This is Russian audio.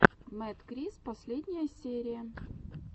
мэдкрис последняя серия